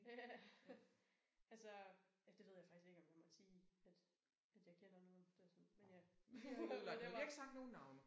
Ja. Altså ja det ved jeg faktisk ikke om jeg måtte sige at at jeg kender nogen der sådan men ja jeg ved godt